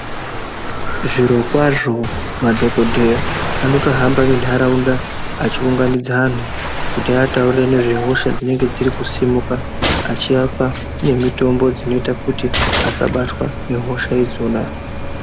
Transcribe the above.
Zvirokwazvo madhokodheya anotohamba muntaraunda achiunganidza anhu kuti vaataurire ngezvehosha dzinenge dziri kusimuka achiapa nemitombo dzinoita kuti asabatwa nehosha idzona.